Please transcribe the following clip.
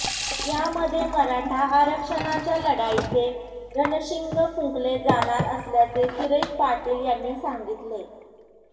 यामध्ये मराठा आरक्षणाच्या लढाईचे रणाशिंग फुंकले जाणार असल्याचे सुरेश पाटील यांनी सांगितले